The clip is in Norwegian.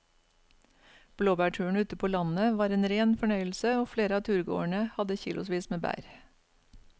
Blåbærturen ute på landet var en rein fornøyelse og flere av turgåerene hadde kilosvis med bær.